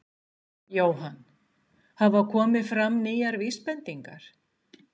Jóhann: Hafa komið fram nýjar vísbendingar?